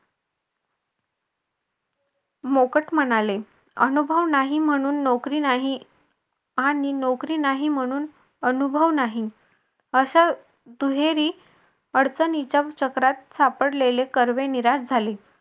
मोकट म्हणाले अनुभव नाही म्हणून नोकरी नाही आणि नोकरी नाही म्हणून अनुभव नाही असं दुहेरी अडचणीच्या चक्रात सापडलेले कर्वे निराश झाले.